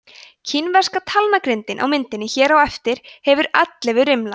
kínverska talnagrindin á myndinni hér á eftir hefur ellefu rimla